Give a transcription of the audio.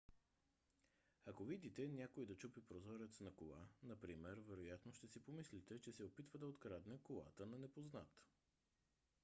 ако видите някой да чупи прозорец на кола например вероятно ще си помислите че се опитва да открадне колата на непознат